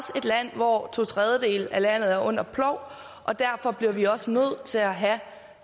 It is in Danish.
land hvor to tredjedele af landet er under plov og derfor bliver vi også nødt til at have